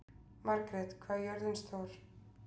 Margret, hvað er jörðin stór?